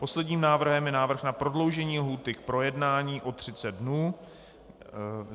Posledním návrhem je návrh na prodloužení lhůty k projednání o 30 dnů.